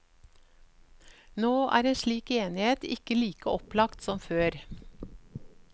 Nå er en slik enighet ikke like opplagt som før.